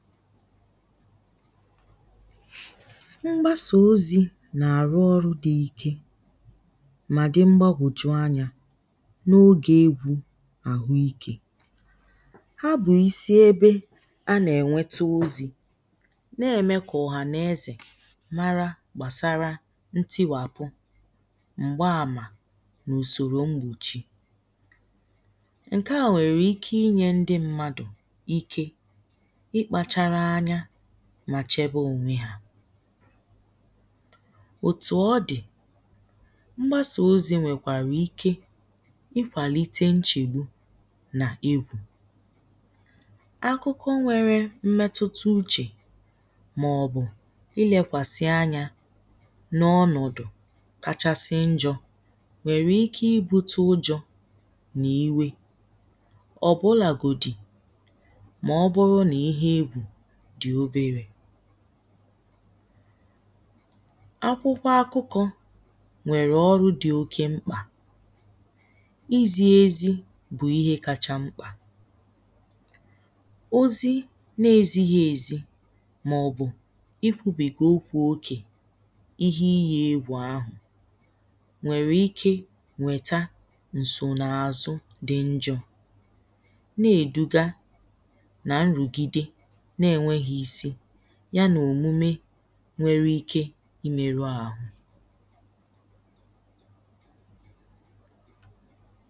mgbasà ozī nà àrụ ọrụ dị̄ ike mà dị̄ mgbagòju anyā n’oge egwū àhụ ikē a bụ̀ isi ebe a nà ẹ̀nwẹtẹ ozī nà-ẹ̀mẹ kà ọ̀hànẹ̄zẹ̀ mara gbàsara ntị̣wàpụ m̀gbe àmà n’usòrò mgbòchi ǹ̇kẹ à nwẹ̀rẹ̀ ike ịnyẹ̄ ndị mmadù ike ị kpāchara anya mà chẹbẹ ònwe yā òtù ọ dị̀ mgbasà ozī nwẹ̀kwàrà ike ị kwàlite nchègbu nà egwù akụkọ nwẹ̄rẹ̄ mmetụta uchè mà ọ̀ bụ̀ ị lekwàsị anyā n’ọnọ̀dụ̀ kachasị njọ̄ nwẹ̀rẹ̀ ike ị botu ujọ̄ nà iwe ọ̀bụlà gòdì mà ọ bụrụ nà ihe egwù dị̀ oberē akwụkwọ akụ̄kọ̄ nwẹ̀rẹ̀ ọru dị oke mkpà izī ezi bụ̀ ihe kacha mkpà ozi nā ezịghị èzị mà ọ bụ̀ ị kwụ̄bègè okwū okè ihe ịyị̄ egwù ahụ̀ nwẹ̀rẹ̀ ike nwẹ̀ta ǹsò n’àzụ dị̄ njọ̄ nà-èduga nà nrùgide nà ènwèghị isi yā nà òmume nwẹrẹ ike i mẹ̄rụ àhụ